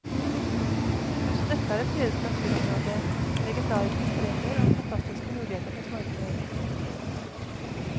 Også dette er et fredet naturområde, med legendariske strender og fantastiske muligheter for snorkling.